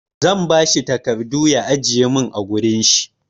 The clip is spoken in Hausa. Zan ba shi takardu ya ajiye min a wurin shi.